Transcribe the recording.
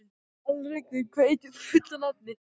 Alrekur, hvað heitir þú fullu nafni?